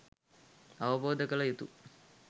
අවබෝධ කළ යුතු